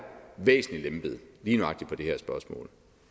væsentlig lempet lige nøjagtig på det her spørgsmål